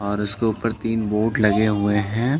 और उसके ऊपर तीन बोर्ड लगे हुए है।